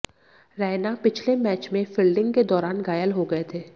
रैना पिछले मैच में फील्डिंग के दौरान घायल हो गए थे